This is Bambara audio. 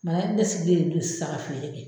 ne sigilen do sisan ka feere kɛ.